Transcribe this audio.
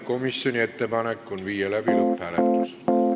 Komisjoni ettepanek on viia läbi lõpphääletus.